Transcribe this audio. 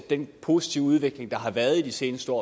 den positive udvikling der har været i de seneste år